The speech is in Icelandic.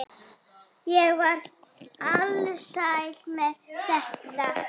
Ég var alsæl með þetta.